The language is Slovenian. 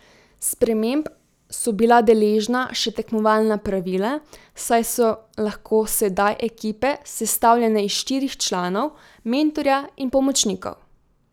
Sprememb so bila deležna še tekmovalna pravila, saj so lahko sedaj ekipe sestavljene iz štirih članov, mentorja in pomočnikov.